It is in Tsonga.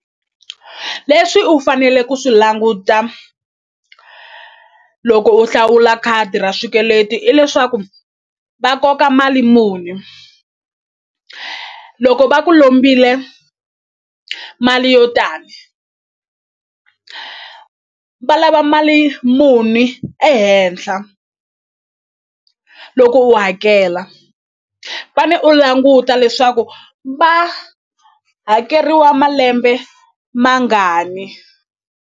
Leswi u fanele ku swi languta loko u hlawula khadi ra swikweleti i leswaku va koka mali muni loko va ku lombile mali yo tani va lava mali muni ehenhla loko u hakela fane u languta leswaku va hakeriwa malembe mangani.